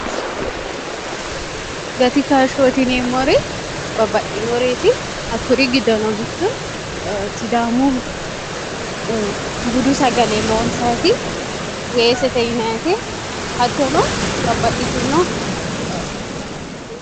gati kashshootineemmori babbaxxinoreeti hakkuri giddono bitto sidaamu budu sagale loonsati weessete yinte hattono babbaxitino